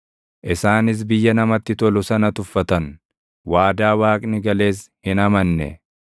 Isaanis biyya namatti tolu sana tuffatan; waadaa Waaqni gales hin amanne.